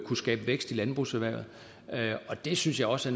kunne skabe vækst i landbrugserhvervet det synes jeg også